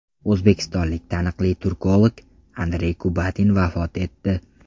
O‘zbekistonlik taniqli turkolog Andrey Kubatin vafot etdi.